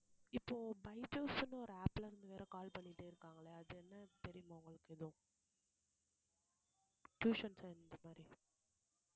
இப்போ பைஜுஸ்ன்னு ஒரு app ல இருந்து வேற call பண்ணிட்டே இருக்காங்க அது என்னன்னு தெரியுமா உங்களுக்கு எதுவும் tuition center மாதிரி